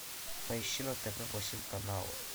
поищи на тв восемь канал